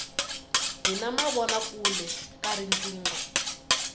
hi na mavona kule ka riqingho